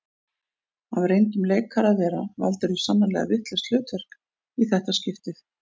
Af reyndum leikara að vera valdirðu sannarlega vitlaust hlutverk í þetta skiptið